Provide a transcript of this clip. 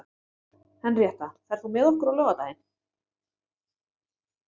Henríetta, ferð þú með okkur á laugardaginn?